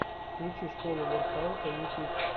включи школу воркаута ютюб